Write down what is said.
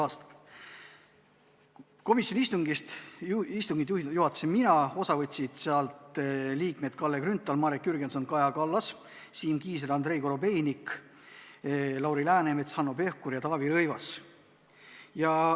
Komisjoni istungit juhatasin mina, osa võtsid liikmed Kalle Grünthal, Marek Jürgenson, Kaja Kallas, Siim Kiisler, Andrei Korobeinik, Lauri Läänemets, Hanno Pevkur ja Taavi Rõivas.